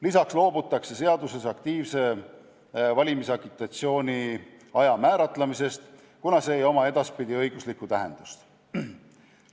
Lisaks loobutakse seaduses aktiivse valimisagitatsiooni aja määratlemisest, kuna see ei oma edaspidi õiguslikku tähendust.